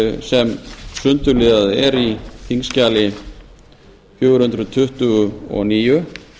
sem sundurliðað er í þingskjali fjögur hundruð tuttugu og níu